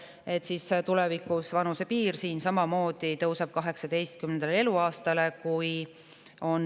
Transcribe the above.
Tulevikus tõuseb tasuta transpordi õiguse vanusepiir samamoodi 18 eluaastale.